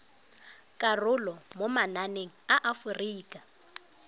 karolo mo mananeng a aforika